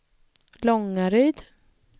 Långaryd